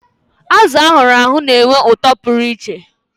Azụ ahuru ahu na-enwe ụtọ pụrụ iche.